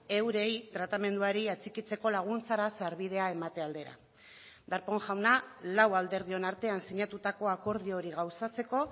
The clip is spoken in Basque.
eurei tratamenduari atxikitzeko laguntzara sarbidea emate aldera darpón jauna lau alderdion artean sinatutako akordio hori gauzatzeko